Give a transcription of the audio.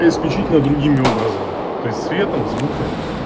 исключительно другими образами то есть светом и звуком